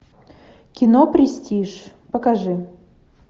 кино престиж покажи